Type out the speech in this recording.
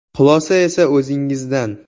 Xulosa esa o‘zingizdan.